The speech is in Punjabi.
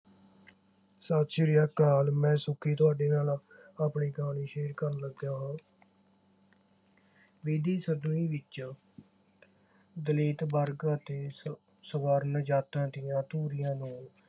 ਸਤ ਸ੍ਰੀ ਅਕਾਲ ਮੈਂ ਸੁੱਖੀ ਤੁਹਾਡੇ ਨਾਲ ਆਪਣੀ ਕਹਾਣੀ share ਕਰਨ ਲੱਗਿਆ। ਬੀਤੀ ਸਦਵੀ ਵਿਚ ਦਲਿਤ ਵਰਗ ਅਤੇ ਸਵਰਨ ਜ਼ਾਤਾਂ ਦੀਆਂ ਦੂਰੀਆਂ ਨੂੰ